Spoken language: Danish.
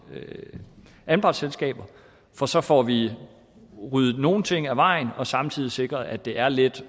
anpartsselskaber for så får vi ryddet nogle ting af vejen og samtidig sikret at det er let